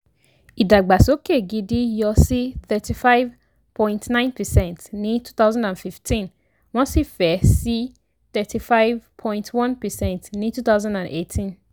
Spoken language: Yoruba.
ìdàgbàsókè gidi yọ̀ sí 35.9 percent ní 2015 wọ́n sì fẹ̀ sí 35.1 percent ní 2018.